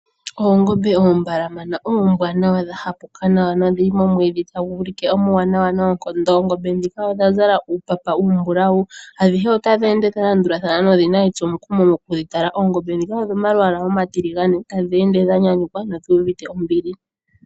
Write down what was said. Oongombe oombalama oombwanawa dha hapuka nawa, dhili momwiidhi tagu u like omuwanawa noonkondo. Oongombe ndhika odha zala uupapa uumbulawu. Adhihe otadhi ende dha landulathana nothing etso mukumo moku dhi tala. Oongombe ndhika odho mawaala omatiligane. Oongombe ndhika otadhi ende dha nyanyuka nodhi uvite ombili.